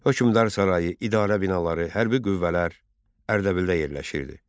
Hökmdar sarayı, idarə binaları, hərbi qüvvələr Ərdəbildə yerləşirdi.